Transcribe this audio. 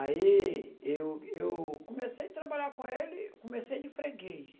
Aí eu eu comecei a trabalhar com ele, comecei de freguês.